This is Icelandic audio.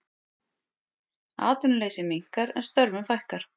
Atvinnuleysi minnkar en störfum fækkar